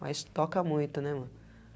Mas toca muito, né, mano?